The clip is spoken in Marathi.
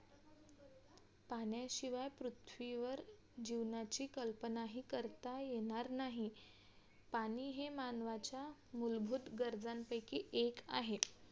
पाण्याशिवाय पृथ्वीवर जीवनाची कल्पना हि करता येणार नाही पाणी हे मानवाच्या मूलभूत गरजांपैकी एक आहे